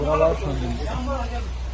Yəni buralar söndürülüb.